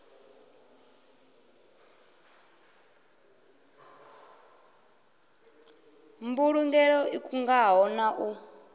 mbulugelo i kungaho na u